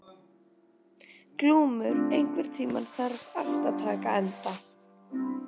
Glúmur, einhvern tímann þarf allt að taka enda.